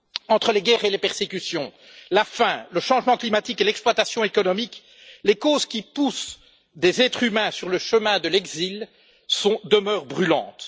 Entre les guerres et les persécutions, la faim, le changement climatique et l'exploitation économique, les causes qui poussent des êtres humains sur le chemin de l'exil demeurent brûlantes.